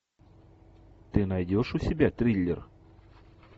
ты найдешь у себя триллер